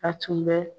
A tun bɛ